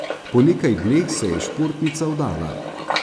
Po nekaj dneh se je športnica vdala.